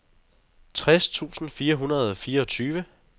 tres tusind fire hundrede og fireogtyve